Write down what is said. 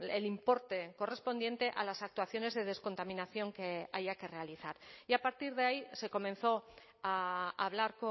el importe correspondiente a las actuaciones de descontaminación que haya que realizar y a partir de ahí se comenzó a hablar